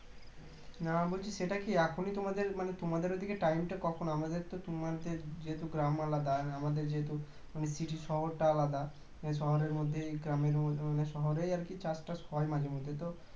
না বলছি সেটা কী এখনই তোমাদের মানে তোমাদের ওইদিকে time টা কখন আমাদের তো তোমাদের যেহেতু গ্রাম আলাদা আমাদের যেহেতু মানে city শহরটা আলাদা শহরের মধ্যেই . শহরেই আরকি চাষটাস হয় মাঝে মাঝে তো